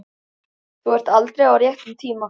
Þú ert aldrei á réttum tíma.